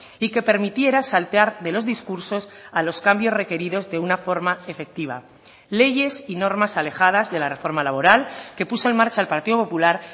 y que permitiera saltear de los discursos a los cambios requeridos de una forma efectiva leyes y normas alejadas de la reforma laboral que puso en marcha el partido popular